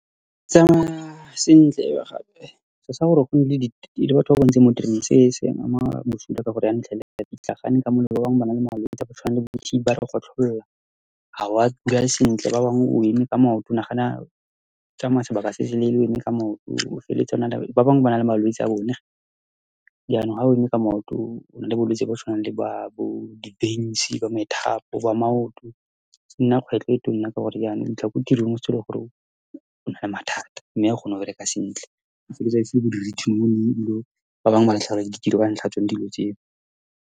Ke tsamaya sentle , gape ke tsaya gore gona le , le batho ba bantsi mo tereneng, se se ba ama bosula. Ka gore jaanong o fitlhela ba pitlagane , ba bangwe ba na le malwetsi a a tshwanang le bo-T_B, ba re gotlholela, ha wa sentle, ba bangwe o eme ka maoto, nagana o tsamaya sebaka se se leele o eme ka maoto, o feleletsa o na . Ba bangwe ba na le malwetsi a bone. Jaanong, ha o eme ka maoto, o na le bolwetsi jo bo tshwanang le jwa bo-di-veins-i, bo methapo jwa maoto, e nna kgwetlho e tsona, ka gore jaanong o fitlha kwa tirong gore o na le mathata mme o kgona go bereka sentle, o feleletsa bo di-written warning, ebile ba bangwe ba latlhegelwa ke ditiro ka ntlha ya tsone dilo tseo.